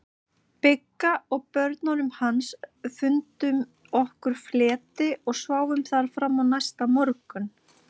Bigga og börnunum hans, fundum okkur fleti og sváfum þar fram á næsta morgun.